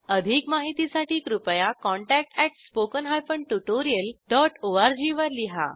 अधिक माहितीसाठी कृपया contactspoken tutorialorg वर लिहा